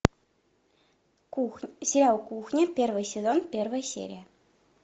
сериал кухня первый сезон первая серия